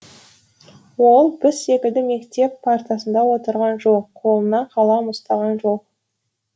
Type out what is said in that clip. ол біз секілді мектеп партасында отырған жоқ қолына қалам ұстаған жоқ